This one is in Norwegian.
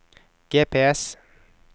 GPS